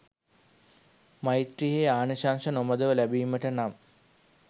මෛත්‍රියෙහි ආනිශංස නොමඳව ලැබීමට නම්